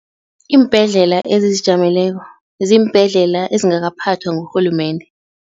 Iimbhedlela ezizijameleko ziimbhedlela ezingakaphathwa ngurhulumende.